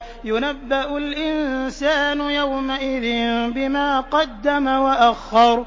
يُنَبَّأُ الْإِنسَانُ يَوْمَئِذٍ بِمَا قَدَّمَ وَأَخَّرَ